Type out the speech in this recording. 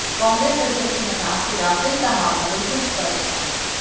कांग्रेस अध्यक्ष ने कहा कि राफेल का मामला बिल्कुल स्पष्ट है